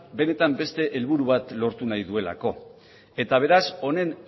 benetan beste helburu bat lortu nahi duelako eta beraz honen